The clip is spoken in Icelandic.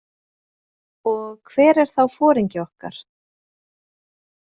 Og hver er þá foringi okkar?